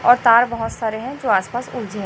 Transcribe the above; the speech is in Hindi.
और तार बहोत सारे है जो आस पास उलझे--